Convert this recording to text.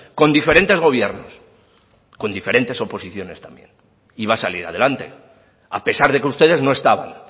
con diferentes gobiernos con diferentes oposiciones también y va a salir adelante a pesar de que ustedes no estaban